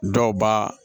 Dɔw b'a